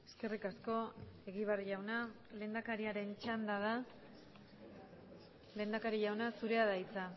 eskerrik asko egibar jauna lehendakariaren txanda da lehendakari jauna zurea da hitza